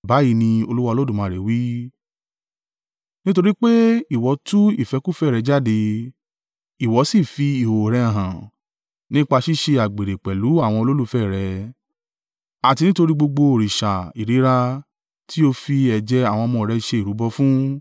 Báyìí ni Olúwa Olódùmarè wí, “Nítorí pé ìwọ tú ìfẹ́kúfẹ̀ẹ́ rẹ jáde, ìwọ sì fi ìhòhò rẹ hàn, nípa ṣíṣe àgbèrè pẹ̀lú àwọn olólùfẹ́ rẹ, àti nítorí gbogbo òrìṣà ìríra tí o fi ẹ̀jẹ̀ àwọn ọmọ rẹ ṣe ìrúbọ fún,